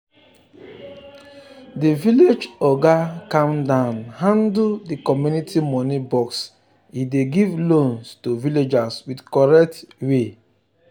the village oga calm down handle the community money box e dey give loans to villagers with correct way.